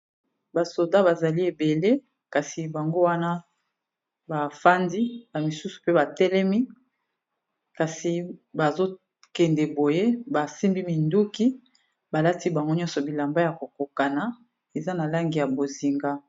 basoda bazali ebele kasi bango wana bafandi ba misusu pe batelemi kasi bazokende boye basimbi minduki balati bango nyonso bilamba ya kokokana eza na langi ya bozinga